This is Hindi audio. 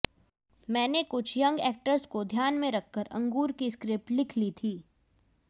मैंने कुछ यंग ऐक्टर्स को ध्यान में रखकर अंगूर की स्क्रिप्ट लिख ली थी